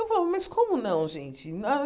Eu falava, mas como não, gente? nã ah